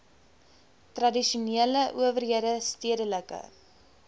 tradisionele owerhede stedelike